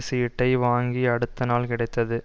சீட்டை வாங்கிய அடுத்தநாள் கிடைத்தது